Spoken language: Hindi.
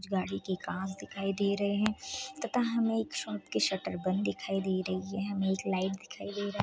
कुछ गाड़ी के कांच दिखाई दे रहे हैं तथा हमें एक शॉप की शटर बंद दिखाई दे रही है| हमें एक लाइट दिखाई दे रहा--